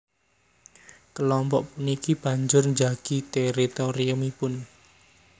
Kelompok puniki banjur njagi teritoriumipun